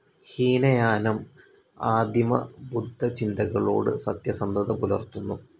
ഹീനയാനം‌ ആദിമബുദ്ധചിന്തകളോട് സത്യസന്ധത പുലർ‌‍ത്തുന്നു.